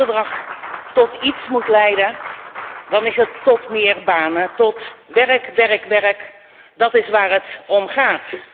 Als dit handelsverdrag tot iets moet leiden, dan is het tot meer banen, tot werk, werk, en nog eens werk, dat is waar het om gaat.